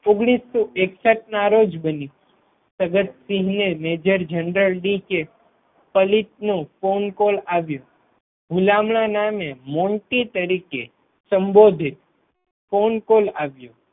ઓગણીસો એકસઠ ના રોજ બની સદતસિંહ જી ને મેજર જરનલ ડી. કે. પલિતનો ફોન કોલ આવ્યો. હુલામણા નામે મોન્ટી તરીકે સંબોધિત ફોન કોલ આવ્યો.